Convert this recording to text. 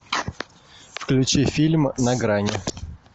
включи фильм на грани